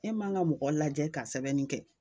E man ka mɔgɔ lajɛ ka sɛbɛnni kɛ